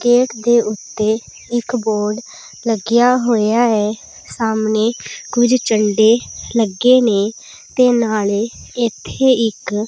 gate ਦੇ ਓੱਤੇ ਇੱਕ ਬੋਰਡ ਲੱਗਿਆ ਹੋਇਆ ਐ ਸਾਹਮਣੇ ਕੁਝ ਝੰਡੇ ਲੱਗੇ ਨੇਂ ਤੇ ਨਾਲੇ ਇੱਥੇ ਇੱਕ --